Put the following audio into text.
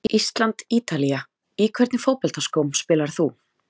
Ísland- Ítalía Í hvernig fótboltaskóm spilar þú?